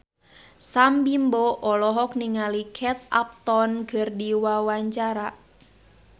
Sam Bimbo olohok ningali Kate Upton keur diwawancara